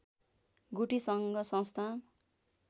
गुठी सङ्घ संस्था